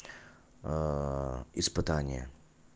испытание